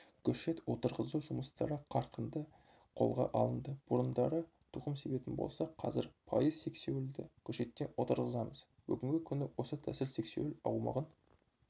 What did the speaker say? көшет отырғызу жұмыстары қарқынды қолға алынды бұрындары тұқым себетін болсақ қазір пайыз сексеуілді көшеттен отырғызамыз бүгінгі күні осы тәсіл сексеуіл аумағын